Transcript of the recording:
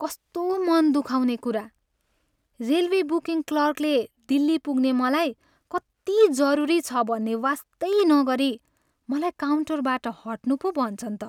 कस्तो मन दुखाउने कुरा, रेलवे बुकिङ क्लर्कले दिल्ली पुग्ने मलाई कति जरुरी छ भन्ने वास्तै नगरी मलाई काउन्टरबाट हट्नु पो भन्छन् त।